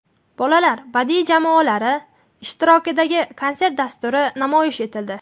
Bolalar badiiy jamoalari ishtirokidagi konsert dasturi namoyish etildi.